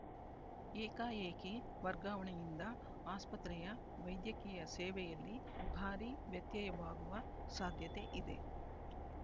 ಏಕಾಏಕಿ ವರ್ಗಾವಣೆಯಿಂದ ಆಸ್ಪತ್ರೆಯ ವೈದ್ಯಕೀಯ ಸೇವೆಯಲ್ಲಿ ಭಾರಿ ವ್ಯತ್ಯಯವಾಗುವ ಸಾಧ್ಯತೆ ಇದೆ